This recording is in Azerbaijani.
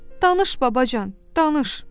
Danış babacan, danış.